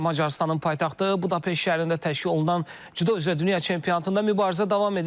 Macarıstanın paytaxtı Budapeşt şəhərində təşkil olunan Cüdo üzrə dünya çempionatında mübarizə davam edir.